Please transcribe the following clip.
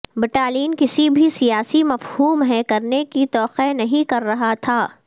battalion کسی بھی سیاسی مفہوم ہے کرنے کی توقع نہیں کر رہا تھا